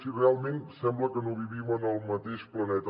sí realment sembla que no vivim en el mateix planeta